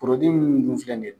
mun dun filɛ nin ye.